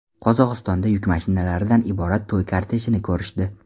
Qozog‘istonda yuk mashinalaridan iborat to‘y kortejini ko‘rishdi .